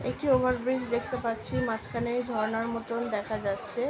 একটি ওভারব্রিজ দেখতে পাচ্ছি মাঝখানে এই ঝর্ণার মতন দেখা যাচ্ছে ।